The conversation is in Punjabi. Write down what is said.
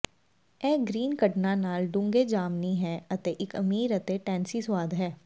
ਇਹ ਗ੍ਰੀਨ ਕਢਣਾਂ ਨਾਲ ਡੂੰਘੇ ਜਾਮਨੀ ਹੈ ਅਤੇ ਇੱਕ ਅਮੀਰ ਅਤੇ ਟੈਂਸੀ ਸੁਆਦ ਹੈ